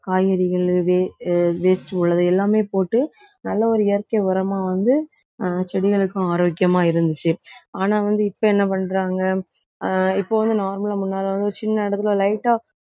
காய்கறிகள் wa~ waste உள்ளது எல்லாமே போட்டு நல்ல ஒரு இயற்கை உரமா வந்து ஆஹ் செடிகளுக்கும் ஆரோக்கியமா இருந்துச்சு. ஆனா வந்து இப்ப என்ன பண்றாங்க ஆஹ் இப்ப வந்து normal லா முன்னால வந்து சின்ன இடத்தில light ஆ